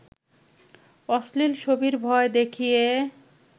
অশ্লীল ছবির ভয় দেখিয়ে